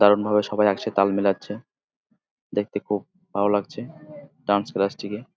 দারুন ভাবে সবাই একসাথে তাল মেলাচ্ছে। দেখতে খুব ভালো লাগছে ডান্স ক্লাস -টিকে।